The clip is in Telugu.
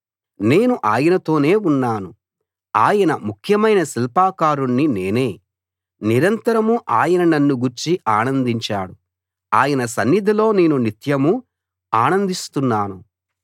నేను ఆయనతోనే ఉన్నాను ఆయన ముఖ్యమైన శిల్పకారుణ్ణి నేనే నిరంతరం ఆయన నన్ను గూర్చి ఆనందించాడు ఆయన సన్నిధిలో నేను నిత్యమూ ఆనందిస్తున్నాను